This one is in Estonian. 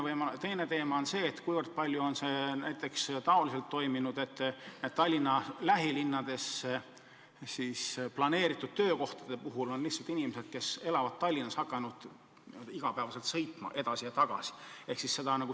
Ja teine teema on see, mil määral on protsess toimunud nii, et Tallinna lähilinnades loodud töökohtadel töötavad lihtsalt inimesed, kes elavad Tallinnas ja on hakanud iga päev edasi ja tagasi sõitma.